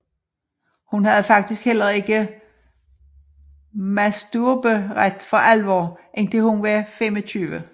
Hun havde faktisk heller ikke masturberet for alvor indtil hun var 25